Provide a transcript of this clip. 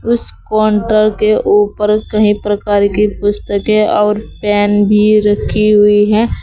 उस काउंटर के ऊपर कई प्रकार की पुस्तके और पेन भी रखी हुई है।